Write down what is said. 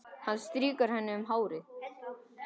Hann strýkur henni um hárið.